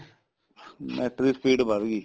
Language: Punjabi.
NET ਦੀ speed ਵੱਧਗੀ